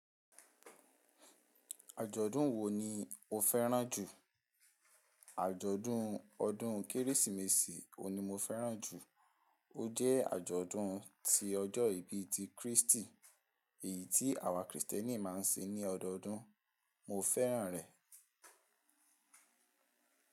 Àjọ̀dún wo ni o fẹ́ràn jù? Àjọ̀dún ọdún Kérésìmesì òní mo fẹ́ràn jù. Ó jẹ́ àjọ̀dún ti ọjọ́ ìbí ti Kristi, èyí tí àwa Kristẹni máa ń ṣe ní ọdọọdún. Mo fẹ́ràn rẹ̀.